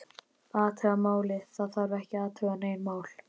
Athuga málið, það þarf ekki að athuga nein mál